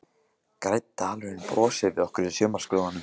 Grænn dalurinn brosir við okkur í sumarskrúðanum.